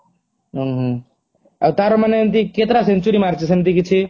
ଊଁ ହୁଁ ଆଉ ତାର ମାନେ ଏମତି କେତେଟା century ମାରିଚି ସେମତି କିଛି